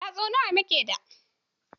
Yatsu nawa muke da?